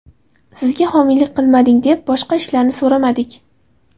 Sizga homiylik qilmading, deb boshqa ishlarni so‘ramadik.